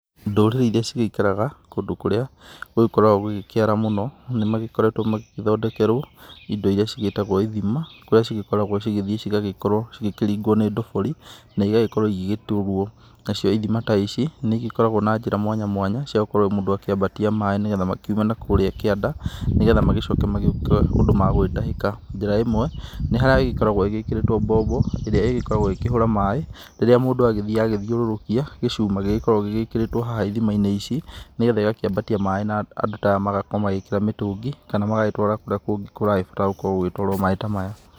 Ndũrĩrĩ iria cigĩikaraga kũndũ kũrĩa gũgĩkoragwo gũgĩkĩara mũno nĩmagĩkoretwo magĩgĩthondekerwo indo irima cigĩtagwo ithima, kũrĩa cigĩkoragwo cigĩthiĩ cigagĩkorwo cigĩkĩringwo nĩ ndobori, na ĩgagĩkorwo igĩgĩtuwo. Nacio ithima ta ici nĩigĩkoragwo na njĩra mwanya mwanya cia gũkorwo mũndũ akĩambatia maaĩ nigetha makiume na kũũrĩa kĩanda, nĩ getha magĩcoke magĩũke ũndũ magũgĩtahĩka. Njĩra ĩmwe nĩ harĩa ĩgĩkoragwo ĩgĩkĩrĩtwo mbombo ĩrĩa ĩgĩkoragwo ĩgĩkĩhũra maaĩ, rĩrĩa mũndũ agĩthiĩ agĩthiũrũrũkia gĩcuma kĩrĩa gĩkoragwo gĩgĩkĩrĩtwo haha ithima-inĩ ici nigetha ĩgakĩambatia maaĩ na andũ ta aya magakorwo magĩkĩra mĩtũngi, kana magagĩtwara kũrĩa kũngĩ kũragĩbatara gũkorwo gũgĩtwarwo maaĩ ta maya.